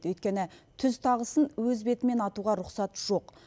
өйткені түз тағысын өз бетімен атуға рұқсат жоқ